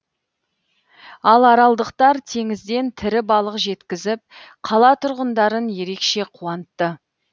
ал аралдықтар теңізден тірі балық жеткізіп қала тұрғындарын ерекше қуантты